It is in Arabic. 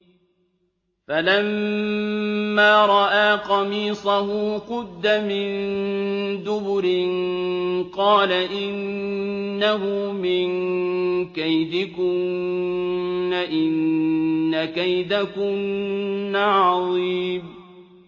فَلَمَّا رَأَىٰ قَمِيصَهُ قُدَّ مِن دُبُرٍ قَالَ إِنَّهُ مِن كَيْدِكُنَّ ۖ إِنَّ كَيْدَكُنَّ عَظِيمٌ